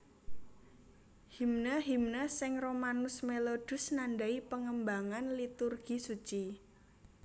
Himne himne sing Romanus Melodus nandai pangembangan Liturgi Suci